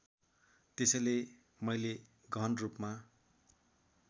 त्यसैले मैले गहनरूपमा